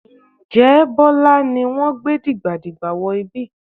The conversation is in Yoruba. Ǹjẹ́ Bọ́lá ni wọ́n gbé dìgbàdìgbà wọ ibi?